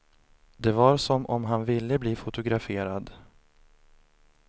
Det var som om han ville bli fotograferad.